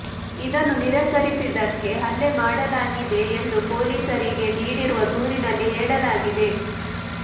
ಇದನ್ನು ನಿರಾಕರಿಸಿದ್ದಕ್ಕೆ ಹಲ್ಲೆ ಮಾಡಲಾಗಿದೆ ಎಂದು ಪೊಲೀಸರಿಗೆ ನೀಡಿರುವ ದೂರಿನಲ್ಲಿ ಹೇಳಲಾಗಿದೆ